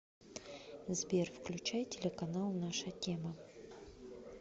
сбер включай телеканал наша тема